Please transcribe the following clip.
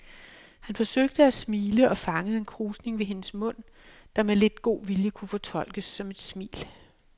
Han forsøgte at smile og fangede en krusning ved hendes mund, der med lidt god vilje kunne fortolkes som et smil.